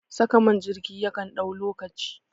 Saka man jirgi yakan ɗau lokaci